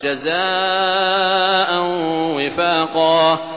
جَزَاءً وِفَاقًا